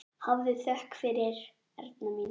Hafðu þökk fyrir, Erna mín.